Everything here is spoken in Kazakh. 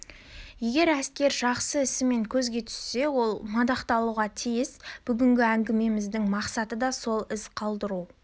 егер әскер жақсы ісімен көзге түссе ол мадақталуға тиіс бүгінгі әңгімеміздің мақсаты да сол із қалдыру